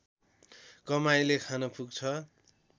कमाइले खान पुग्छ